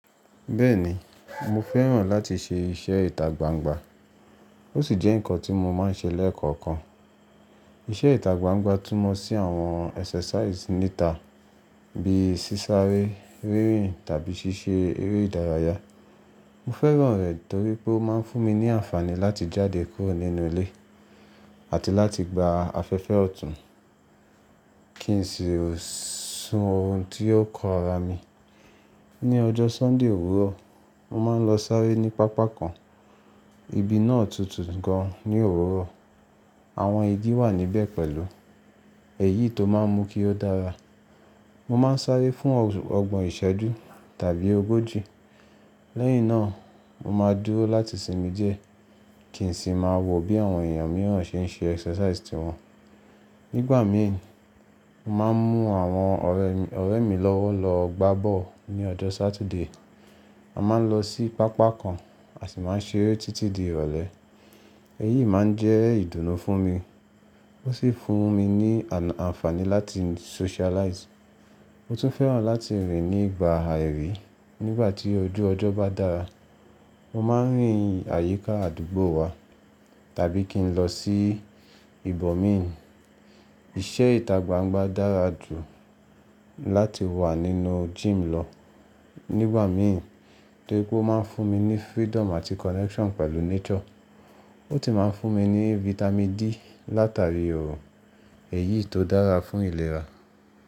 Bẹ́ẹ̀ni, mo fẹ́ràn láti ṣe iṣẹ́ ìtagbangba. Ó sì jẹ́ ǹkan tí mo máa ń ṣe lẹ́ẹ̀koọ̀kan. Iṣẹ́ ìtagbangba túmọ̀ sí àwọn exercise níta bíi sísáré, rírìn tàbí ṣíṣe eré ìdárayá. Mo fẹ́ràn rẹ̀ torí pé ó máa ń fún mi ní àǹfààní láti jáde kúrò nínú ilé àti láti gba afẹ́fẹ́ ọ̀tún kí n sì o sún orùn tí ó kan ara mi. Ni ọjọ́ Sunday òwúrọ̀, mo máa ń lọ sáré ní pápá kan, ibi náà tutù gan ní òwúrọ̀. Àwọn igi wà níbẹ̀ pẹ̀lú, èyí tó máa ń mú kí ó dára. Mo máa ń sáré fún ọgbọ̀n ìṣẹ́jú tàbí ogójì. Lẹ́yìn náà, mo máa dúró láti sinmi díẹ̀ kí n sì máa wò bí àwọn èèyàn mìíràn ṣe ń ṣe exercise tí wọn. Nígbà mìí, mo máa ń mú àwọn ọ̀rẹ́ mi lọ́wọ́ lọ gbá bọ́ọ̀lù ní ọjọ́ Saturday. A máa ń lọ sí pápá kan a sì máa ń ṣeré títí di ìrọ̀lẹ́. Èyí máa ń jẹ́ ìdùnnú fún mi. Ó sì fún mi àǹfààní láti socialize. Mo tún fẹ́ràn láti rìn nígbà àìrìí. Nígbà tí ojú ọjọ́ bá dára, mo máa ń rìn àyíká àdúgbò wa tàbí kí n lọ sí ìbòmín. Iṣẹ́ ìtagbangba dára jù láti wà nínú gym lọ nígbà mí torí pé ó máa ń fún mi ní freedom àti connection pẹ̀lú nature. Ó tì máa ń fún mi ní vitamin D látàríi òòrùn, èyí tó dára fún ìlera.